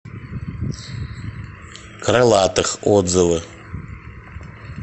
крылатых отзывы